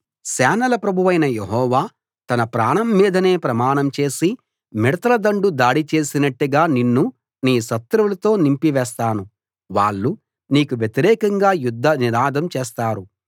సేనల ప్రభువైన యెహోవా తన ప్రాణం మీదనే ప్రమాణం చేసి మిడతల దండు దాడి చేసినట్టుగా నిన్ను నీ శత్రువులతో నింపివేస్తాను వాళ్ళు నీకు వ్యతిరేకంగా యుద్ధనినాదం చేస్తారు